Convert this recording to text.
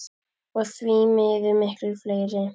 Og því miður miklu fleiri.